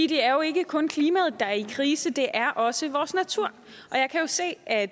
det er jo ikke kun klimaet der er i krise det er også vores natur og jeg kan jo se at